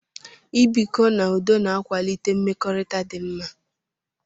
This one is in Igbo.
I bikọ n'udo na-akwalite mmekọrịta dị mma.